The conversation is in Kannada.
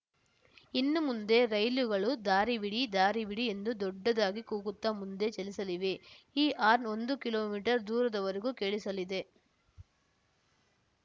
ಇನ್ನುಮುಂದೆ ರೈಲುಗಳು ದಾರಿ ಬಿಡಿ ದಾರಿ ಬಿಡಿ ಎಂದು ದೊಡ್ಡದಾಗಿ ಕೂಗುತ್ತಾ ಮುಂದೆ ಚಲಿಸಲಿವೆ ಈ ಹಾರ್ನ್‌ ಒಂದು ಕಿಲೋಮೀಟರ್ ದೂರದ ವರೆಗೂ ಕೇಳಿಸಲಿದೆ